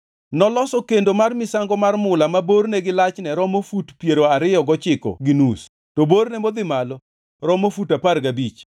Noloso kendo mar misango mar mula ma borne gi lachne romo fut piero ariyo gochiko gi nus, to borne modhi malo romo fut apar gabich.